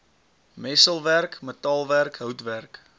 messelwerk metaalwerk houtwerk